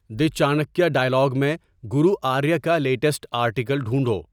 دی Chanakya dialogue میں گورو آریہ کا latest article ڈھونڈو